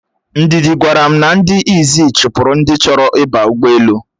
Ndidi gwara m na ndị Izzi chụpụrụ ndi choro ịba ugboelu